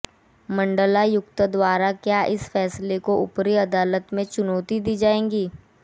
मण्डलायुक्त द्वारा क्या इस फैसले को ऊपरी अदालत में चुनौती दी जाएगी